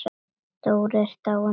Dóri er dáinn.